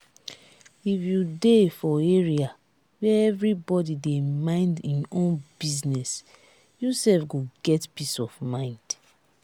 if you dey for area where everybody dey mind im own business you sef go get peace of mind